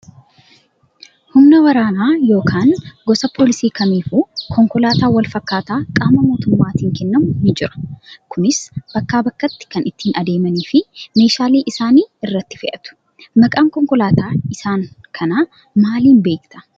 Humna waraanaa yookaan gosa poolisii kamiifuu konkolaataan wal fakkaataa qaama mootummaatiin kennamu ni jira. Kunis bakkaa bakkatti kan ittii adeemanii fi meeshaalee isaanii irratti fe'atu. Maqaa konkolaataa isaanii kana maaliin beektaa?